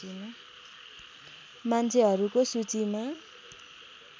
मान्छेहरूको सूचीमा